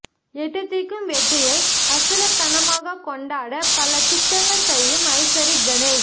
எட்டுத்திக்கும் வெற்றியை அசுரத்தனமாக கொண்டாட பல திட்டங்கள் செய்யும் ஐசரி கணேஷ்